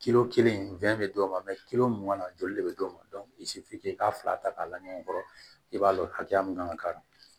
kelen bɛ d'o ma joli de bɛ d'o ma i k'a fila ta k'a laɲɔgɔn kɔrɔ i b'a dɔn hakɛya min kan ka k'a la